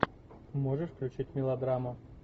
можешь включить мелодраму